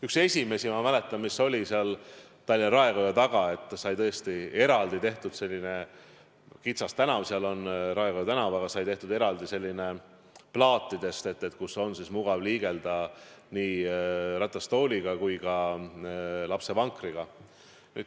Üks esimesi asju, ma mäletan, oli seal Tallinna Raekoja taga, kus sai tõesti tehtud sellisel kitsal tänaval, seal on Raekoja tänav, eraldi plaatidest tee, kus on mugav liigelda nii ratastooliga kui ka lapsevankriga.